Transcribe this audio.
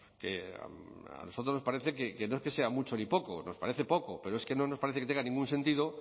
que a nosotros nos parece que no es que sea mucho ni poco nos parece poco pero es que no nos parece que tenga ningún sentido